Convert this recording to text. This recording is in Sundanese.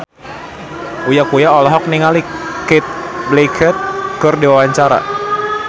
Uya Kuya olohok ningali Cate Blanchett keur diwawancara